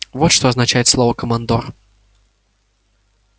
вот что означает слово командор